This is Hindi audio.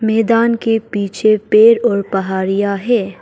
मैदान के पीछे पेड़ और पहारिया है।